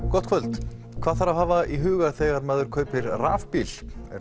gott kvöld hvað þarf að hafa í huga þegar maður kaupir rafbíl er